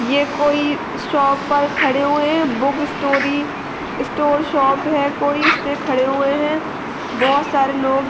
ये कोई शॉप पर खड़े हुए हैं बुक स्टोरी स्टोर शॉप है कोई इसमें खड़े हुए है। भोत सारे लोग --